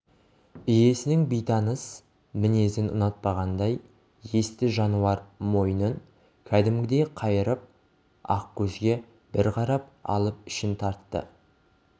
иесінің бейтаныс мінезін ұнатпағандай есті жануар мойнын кәдімгідей қайырып ақкөзге бір қарап алып ішін тартты